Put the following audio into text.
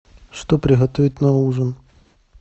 что приготовить на ужин